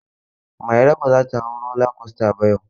Mairo ba za ta hau roller coaster ba yau.